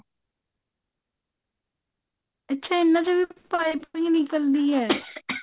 ਅੱਛਾ ਇਹਨਾ ਚੋਂ ਵੀ ਪਾਈਪਿੰਨ ਨਿਕਲਦੀ ਹੈ